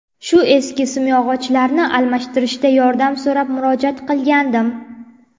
Shu eski simyog‘ochlarni almashtirishda yordam so‘rab murojaat qilgandim.